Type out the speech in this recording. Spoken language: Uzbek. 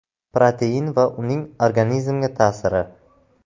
Protein va uning organizmga ta’siri.